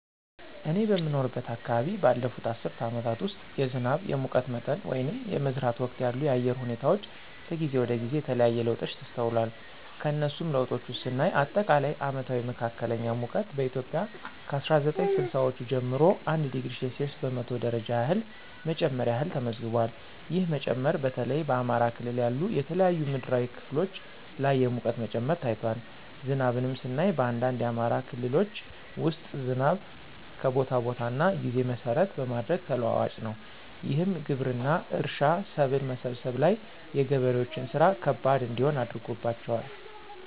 እኔ በምኖርበት አከባቢ ባለፉት አስርት አመታት ውስጥ የዝናብ፣ የሙቀት መጠን ወይንም የመዝራት ወቅት ያሉ የአየር ሁኔታወች ከጊዜ ወደ ጊዜ የተለያየ ለውጦች ተስተውሏል። ከነሱም ለውጦች ውስጥ ስናይ አጠቃላይ አመታዊ መካከለኛ ሙቀት በኢትዮጵያ ከ አስራ ዘጠኝ ስልሳወቹ ጀምሮ 1°c በመቶ ደረጃ ያህል መጨመር ያህል ተመዝግቧል። ይህ መጨመር በተለይ በአማራ ክልል ያሉ የተለያዩ ምድራዊ ክፍሎች ላይ የሙቀት መጨመር ታይቷል። ዝናብንም ስናይ በአንዳንድ የአማራ ክልሎች ውስጥ ዝናብ ከቦታ ቦታ እና ጊዜ መሰረት በማድረግ ተለዋዋጭ ነው። ይህም ግብርና፣ እርሻ፣ ሰብል መሰብሰብ ላይ የገበሬዎችን ስራ ከባድ እንዲሆን አድርጎባቸዋል።